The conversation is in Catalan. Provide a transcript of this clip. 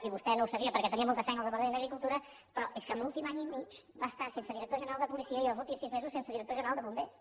i vostè no ho sabia perquè tenia molta feina al departament d’agricultura però és que l’últim any i mig va estar sense director general de policia i els últims sis mesos sense director general de bombers